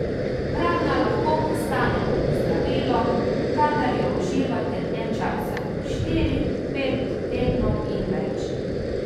Hrana lahko postane zdravilo, kadar jo uživate dlje časa, štiri, pet tednov in več.